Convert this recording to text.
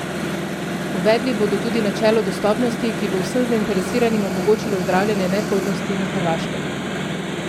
Uvedli bodo tudi načelo dostopnosti, ki bo vsem zainteresiranim omogočilo zdravljenje neplodnosti na Hrvaškem.